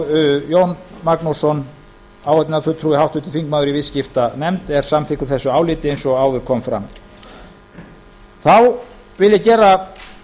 jón magnússon áheyrnarfulltrúi í viðskiptanefnd er samþykkur þessu áliti eins og áður kom fram þá vil ég gera